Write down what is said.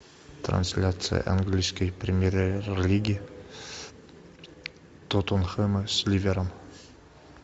трансляция английской премьер лиги тоттенхэма с ливером